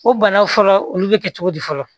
O bana fɔlɔ olu bɛ kɛ cogo di fɔlɔ